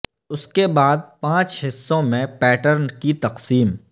اس کے بعد پانچ حصوں میں پیٹرن کی تقسیم